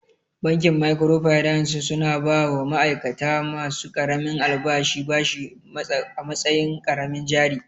Bankin microfinance su na ba wa ma'aikata ma su ƙaramin albashi bashi a matsayin ƙaramin jari